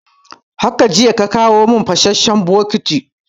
Haka jiya ka kawo mun fasasshen bokati